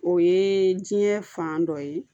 O ye diɲɛ fan dɔ ye